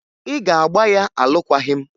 Ị ga-agba ya alụkwaghị m!